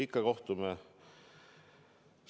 Ikka kohtume!